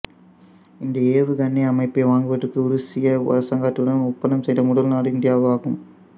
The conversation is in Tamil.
இந்த ஏவுகணை அமைப்பை வாங்குவதற்கு உருசிய அரசாங்கத்துடன் ஒப்பந்தம் செய்த முதல் நாடு இந்தியாவாகும்